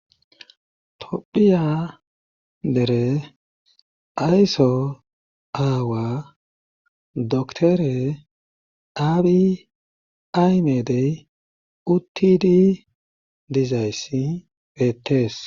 tophiya dere ayso aawa doktore aabi aymedey uttidi dizayssi peetees